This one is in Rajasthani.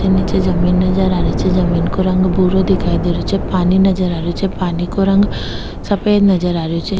निचे जमीं नजर आ रही छे जमीं को रंग भूरो दिखाई दे रो छे पानी नजर आ रेहो छे पानी को रंग का सफेद नजर आ रेहो छे।